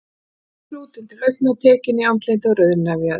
Þó var hann þrútinn til augna, tekinn í andliti og rauðnefjaður.